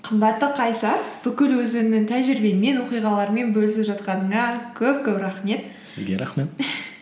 қымбатты қайсар бүкіл өзіңнің тәжірибеңмен оқиғалармен бөлісіп жатқаныңа көп көп рахмет сізге рахмет